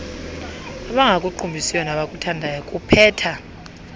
abangakuqumbisiyo nabakuthandayo kupheja